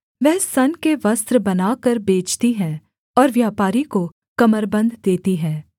वह सन के वस्त्र बनाकर बेचती है और व्यापारी को कमरबन्द देती है